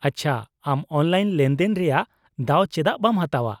-ᱟᱪᱪᱷᱟ, ᱟᱢ ᱚᱱᱞᱟᱭᱤᱱ ᱞᱮᱱᱫᱮᱱ ᱨᱮᱭᱟᱜ ᱫᱟᱣ ᱪᱮᱫᱟᱜ ᱵᱟᱢ ᱦᱟᱛᱟᱣᱟ ?